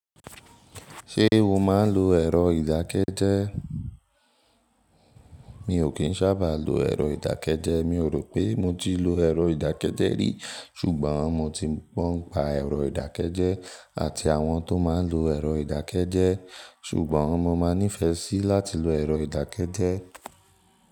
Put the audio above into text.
Ṣé o máa ń lo ẹ̀rọ ìdákẹ́jẹ́? Mi ò kín sábà lo ẹ̀rọ ìdákẹ́jẹ́. Mi ò rò pé mo ti lo ẹ̀rọ ìdákẹ́jẹ́ rí. Ṣùgbọ́n mo ti gbon pa ẹ̀rọ ìdákẹ́jẹ́ àti àwọn tó máa ń lo ẹ̀rọ ìdákẹ́jẹ́. Ṣùgbọ́n mo máa nífẹ̀ẹ́ sí láti lo ẹ̀rọ ìdákẹ́jẹ́